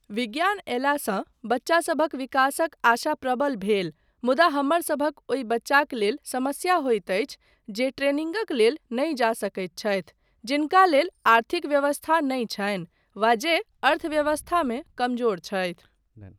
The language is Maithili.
विज्ञान अयलासँ बच्चासभक विकासक आशा प्रबल भेल मुदा हमरसभक ओहि बच्चाक लेल समस्या होइत अछि जे ट्रेनिंगक लेल नहि जा सकैत छथि जिनका लेल आर्थिक व्यवस्था नहि छनि वा जे अर्थव्यवस्थामे कमजोर छथि।